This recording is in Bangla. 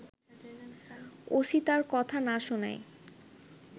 ওসি তার কথা না শোনায়